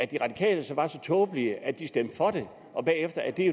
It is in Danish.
de radikale var så tåbelige at de stemte for det og